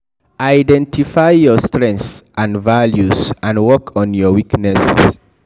Identify your strenghts and values and work on your weaknesses